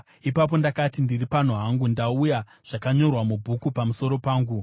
Ipapo ndakati, “Ndiri pano hangu, ndauya, zvakanyorwa mubhuku pamusoro pangu.